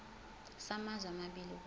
samazwe amabili kusho